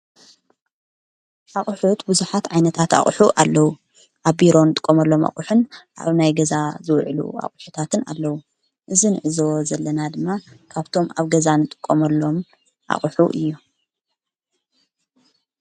ኣቝሑ ት ብዙሓት ዓይነታት ኣቝኁ ኣለዉ ኣብ ቢሮን ጥቆመሎም ኣቝሕን ኣብ ናይ ገዛ ዝውዒሉ ኣቝሑታትን ኣለዉ እዝን እዞ ዘለና ድማ ካብቶም ኣብ ገዛ ንጥቆመሎም ኣቝሑ እዩ።